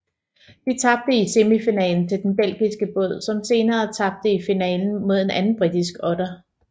De tabte i semifinalen til den belgiske båd som senere tabte i finalen mod en anden britisk otter